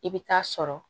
I bɛ taa sɔrɔ